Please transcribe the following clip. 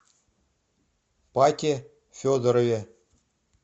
пате федорове